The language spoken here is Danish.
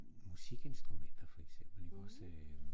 Musikinstrumenter for eksempel ikke også